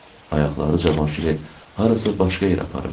Ayaqları Cavanşiri harasa başqa yerə aparırdı.